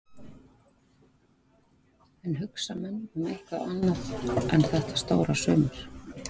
En hugsa menn um eitthvað annað en þetta stóra sumar?